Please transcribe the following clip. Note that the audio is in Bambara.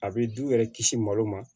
A bɛ du yɛrɛ kisi malo ma